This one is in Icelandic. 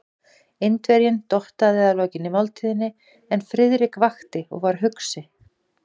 Indverjinn dottaði að lokinni máltíðinni, en Friðrik vakti og var hugsi.